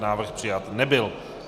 Návrh přijat nebyl.